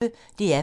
DR P1